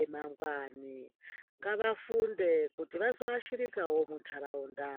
emangwani, ngavafunde kuti vazoashirikawo mundaraunda.